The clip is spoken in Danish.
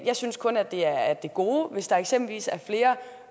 jeg synes kun at det er af det gode hvis der eksempelvis er flere